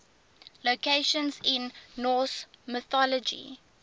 locations in norse mythology